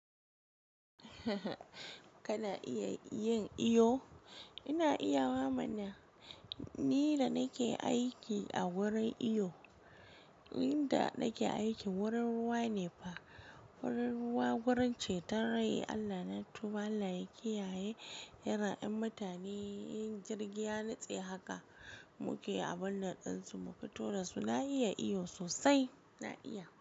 Kana iya yin iyo? Ina iya wa mana, ni da nake aiki a wurin iyo, inda nake aiki wurin ruwa ne fa, wurin ruwa wurin ceton rai, Allah na tuba Allah ya kiyaye, yaran 'yan mutane yin kigiya ya nutse haka, muke a banan din su muke tura su, na iya iyo sosai, na iya.